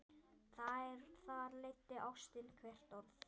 Þar leiddi ástin hvert orð.